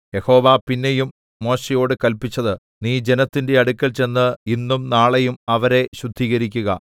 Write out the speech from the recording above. യഹോവ പിന്നെയും മോശെയോട് കല്പിച്ചത് നീ ജനത്തിന്റെ അടുക്കൽ ചെന്ന് ഇന്നും നാളെയും അവരെ ശുദ്ധീകരിക്കുക